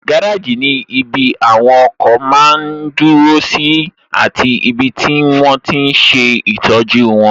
Gáràjì ní ibi àwọn ọkọ̀ máa n dúró sí àti ibi tí wọ́n tíi n ṣe ìtọ́jú wọn